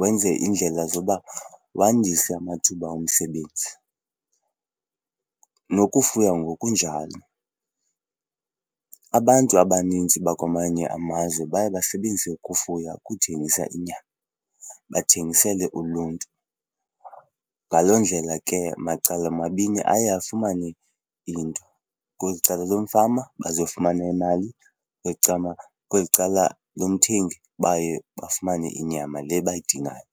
wenze iindlela zoba wandise amathuba omsebenzi. Nokufuya ngokunjalo, abantu abanintsi bakwamanye amazwe baye basebenzise ukufuya ukuthengisa inyama bathengisele uluntu. Ngaloo ndlela ke macala mabini aye afumane into, kweli cala lomfama bazofumana imali, kweli cala lomthengi baye bafumane inyama le bayidingayo.